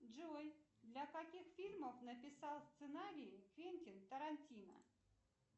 джой для каких фильмов написал сценарий квентин тарантино